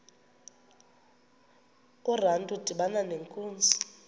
urantu udibana nenkunzi